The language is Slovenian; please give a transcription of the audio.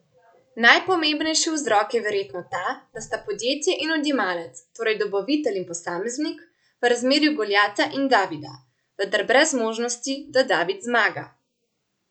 Najpomembnejši vzrok je verjetno ta, da sta podjetje in odjemalec, torej dobavitelj in posameznik, v razmerju Goljata in Davida, vendar brez možnosti, da David zmaga.